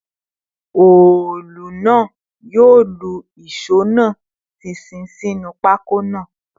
Òòlù náà yóò lu ìṣó náà ṣinṣin sínú pákó náà